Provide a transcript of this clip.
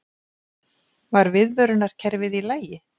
Var viðvörunarkerfið í lagi?